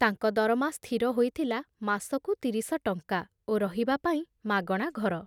ତାଙ୍କ ଦରମା ସ୍ଥିର ହୋଇଥିଲା ମାସକୁ ତିରିଶ ଟଙ୍କା ଓ ରହିବାପାଇଁ ମାଗଣା ଘର।